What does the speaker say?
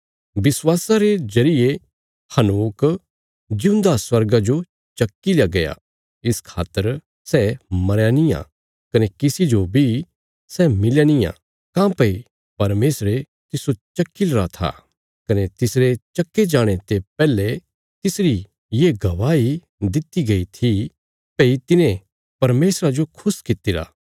विश्वासा रे जरिये हनोक जिऊंदा स्वर्गा जो चक्कील्या गया इस खातर सै मरया नींआ कने किसी जो बी सै मिलया नींआ काँह्भई परमेशरे तिस्सो चक्की लरा था कने तिसरे चक्के जाणे ते पैहले तिसरी ये गवाही दित्ति गई थी भई तिने परमेशरा जो खुश कित्तिरा